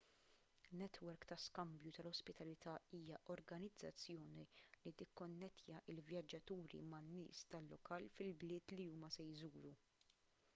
netwerk ta' skambju tal-ospitalità hija organizzazzjoni li tikkonnettja l-vjaġġaturi man-nies tal-lokal fil-bliet li huma se jżuru